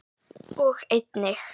og einnig